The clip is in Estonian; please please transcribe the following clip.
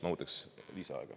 Ma võtaks lisaaega.